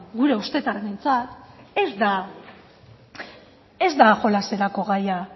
gure ustetan behintzat ez da jolaserako gaia